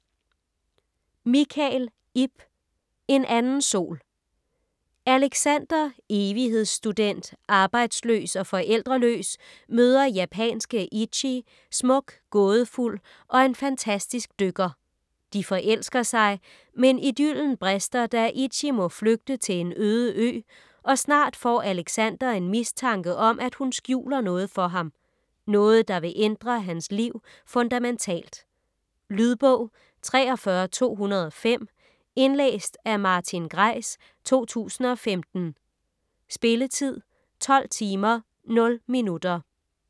Michael, Ib: En anden sol Alexander; evighedsstudent, arbejdsløs og forældreløs møder japanske Ichi; smuk, gådefuld og en fantastisk dykker. De forelsker sig, men idyllen brister da Ichi må flygte til en øde ø og snart får Alexander en mistanke om at hun skjuler noget for ham. Noget, der vil ændre hans liv fundamentalt. Lydbog 43205 Indlæst af Martin Greis, 2015. Spilletid: 12 timer, 0 minutter.